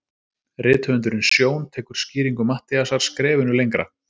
Rithöfundurinn Sjón tekur skýringu Matthíasar skrefinu lengra.